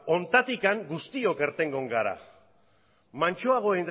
honetatik guztiok irtengo gara mantsoago